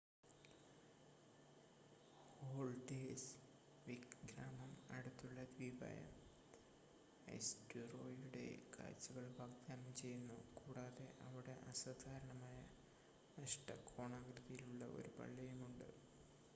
Haldarsvik ഗ്രാമം അടുത്തുള്ള ദ്വീപായ ഐസ്‌റ്റുറോയിയുടെ കാഴ്ചകൾ വാഗ്‌ദാനം ചെയ്യുന്നു കൂടാതെ അവിടെ അസാധാരണമായ അഷ്ടകോണാകൃതിയിലുള്ള ഒരു പള്ളിയുമുണ്ട്